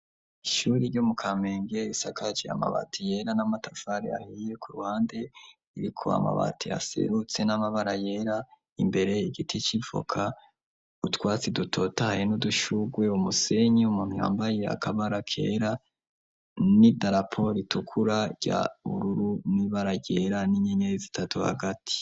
Ishuri ryo mu kamenge isakaje amabati yera n'amatafari ahiye ku ruhande iriko amabati aserutse n'amabara yera imbere igiti c'ivoka utwatsi dutotahaye n'udushugwe umusenyi umuntu yambaye akabara kera n'idarapo ritukura rya bururu n'ibara ryera n'inyenyeri zitatu hagati.